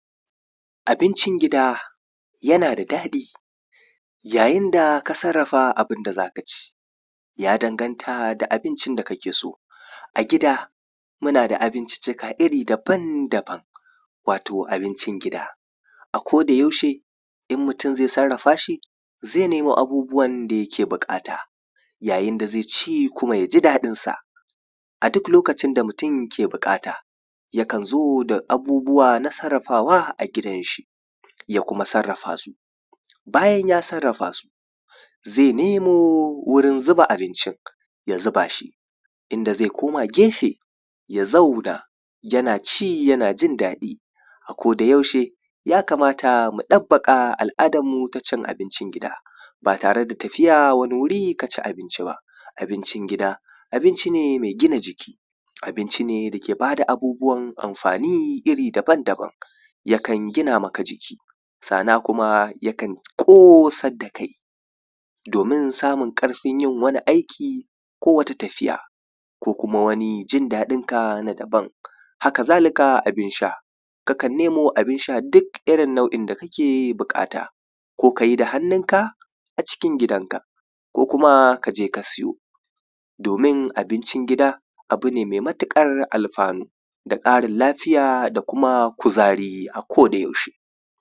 abincin gida yana da daɗi yayin da ka sarrafa abun da zaka ci ya danganta da abincin da kake so a gida muna da abinci ka iri daban-daban wato abincin gida a koda yaushe idan mutum zai sarrafa shi zai nemo abubuwan da ya ke buƙata yayin da zai ci kuma yaji daɗin sa a duk lokacin da mutum ke buƙata yakan zo da abubuwa na sarrafawa a gidan shi ya kuma sarrafa su bayan ya sarrafa su zai nemo wurin zuba abincin ya zuba shi inda zai koma gefe ya zauna yana ci yana jin daɗi a koda yaushe ya kamata mu ɗabbaƙa al’adar mu ta cin abincin gida ba tare da tafiya wani wuri ka ci abinci ba abincin gida abinci ne mai gina jiki abinci ne da bada abubuwan amfani iri daban-daban yakan gina maka jiki sannan kuma yakan kosar da kai domin samun ƙarfin yin wani aiki ko wata tafiya ko kuka wani jin daɗin ka na daban haka zalika abun sha ka kan nemo abun sha duk irin nau’in da yake buƙata ko kayi da hannun ka a cikin gida kaje ka siyo domin abincin gida abinci ne mai matuƙar alfano da ƙarin lafiya da kuma kuzari a ko da